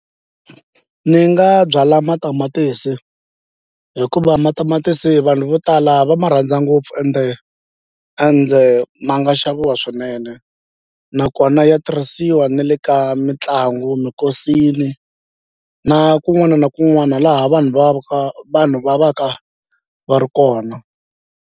Ni nga byala matamatisi hikuva matamatisi vanhu vo tala va ma rhandza ngopfu ende ende ma nga xaviwa swinene nakona ya tirhisiwa na le ka mitlangu minkosini na kun'wana na kun'wana laha vanhu va va vanhu va va ka va ri kona.